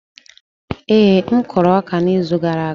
Ee, m kụrụ ọka n'izu gara aga.